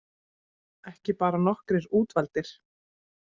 Ekki bara nokkrir útvaldir